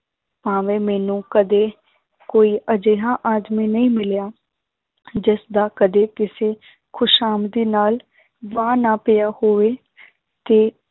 ਭਾਵੇਂ ਮੈਨੂੰ ਕਦੇ ਕੋਈ ਅਜਿਹਾ ਆਦਮੀ ਨਹੀਂ ਮਿਲਿਆ, ਜਿਸਦਾ ਕਦੇ ਕਿਸੇ ਖ਼ੁਸ਼ਾਮਦੀ ਨਾਲ ਵਾਹ ਨਾ ਪਿਆ ਹੋਵੇ ਕਿ